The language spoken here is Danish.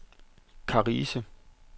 Karise